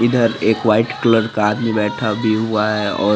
इधर एक white colour का आदमी बेठा भी हुई है और--